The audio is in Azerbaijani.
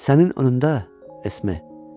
Sənin önündə Esme.